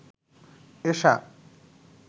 এশা